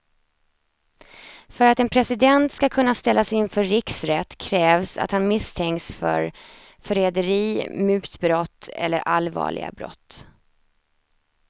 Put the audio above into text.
För att en president ska kunna ställas inför riksrätt krävs att han misstänks för förräderi, mutbrott eller allvarliga brott.